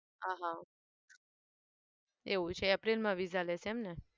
આહ એવું છે april માં viza લેશે એમ ને?